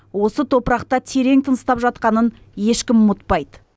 осы топырақта терең тыныстап жатқанын ешкім ұмытпайды